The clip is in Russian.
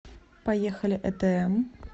поехали этм